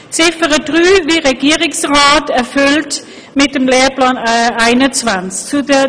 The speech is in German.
Ziffer 3 erachten wir wie der Regierungsrat als mit dem Lehrplan 21 erfüllt.